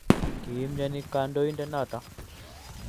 kiimyoni kandoindet noto.